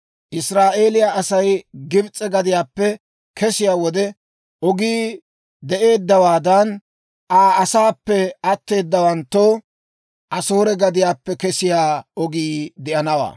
Israa'eeliyaa Asay Gibs'e gadiyaappe kesiyaa wode ogii de'eeddawaadan, Aa asaappe atteedawanttoo Asoore gadiyaappe kesiyaa ogii de'anawaa.